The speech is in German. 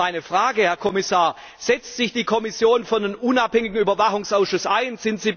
Jetzt meine Frage, Herr Kommissar Setzt sich die Kommission für einen unabhängigen Überwachungsausschuss ein?